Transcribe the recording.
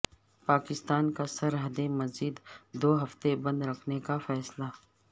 پاکستان کا سرحدیں مزید دو ہفتے بند رکھنے کا فیصلہ